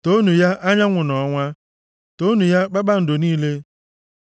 Toonu ya, anyanwụ na ọnwa toonu ya, kpakpando niile.